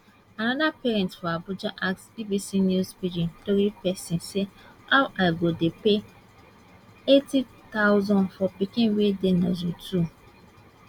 anoda parent for abuja ask bbc news pidgin tori pesin say how i go dey pay 80000 for pikin wey dey nursery two